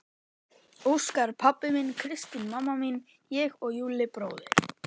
Óskar pabbi minn, Kristín mamma mín, ég og Júlli bróðir.